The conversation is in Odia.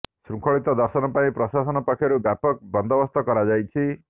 ଶୃଙ୍ଖଳିତ ଦର୍ଶନ ପାଇଁ ପ୍ରଶାସନ ପକ୍ଷରୁ ବ୍ୟାପକ ବନ୍ଦୋବସ୍ତ କରାଯାଇଛି